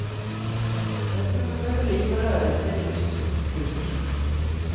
Jag tror vi behöver liv och rörelse, ljus och musik.